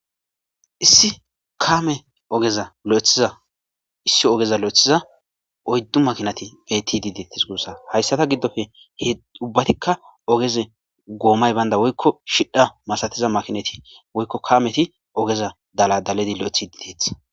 issi kame ogeza lo'ethiza issi ogeza lo'ethiza oyddu makinati beetti diideetis guussa hayssata giddofe he ubbatikka ogeze goomay baynda woykko shidha masatiza makinati woykko kameti ogeza daladaledi lo'ethidi deetes